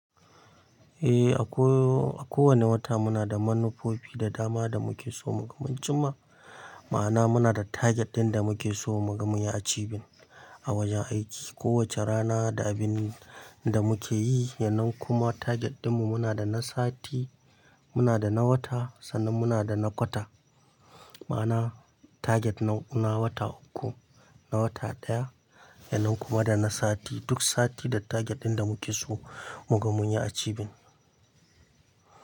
Eh, a ko, a kowane wata muna da manufofi da dama da muke so mu ga mun cimma. Ma'ana muna da target ɗin da muke so mu ga mun yi achieving a wajen aiki. Kowace rana da abin da muke yi, yanan kuma target ɗinmu muna da na sati, muna da na wata, sannan muna da na kwata. Ma'ana target na, na wata uku, na wata ɗaya, yanan kuma da na sati. Duk sati da target ɗin da muke so mu ga mun yi a cibin.